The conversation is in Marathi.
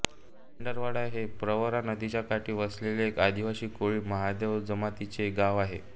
भंडारदरा हे प्रवरा नदीच्या काठी वसलेले एक आदिवासी कोळी महादेव जमातीचे गाव आहे